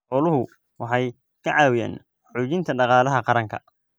Xooluhu waxay ka caawiyaan xoojinta dhaqaalaha qaranka.